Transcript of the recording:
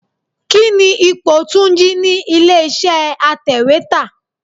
Kíni ipò Túnjí ni ilé iṣẹ́ atèwétà?